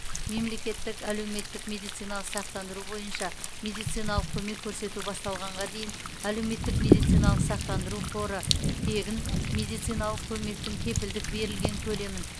мемлекеттік әлеуметтік медициналық сақтандыру бойынша медициналық көмек көрсету басталғанға дейін әлеуметтік медициналық сақтандыру қоры тегін медициналық көмектің кепілдік берілген көлемін